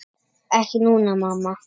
Ekki núna, mamma.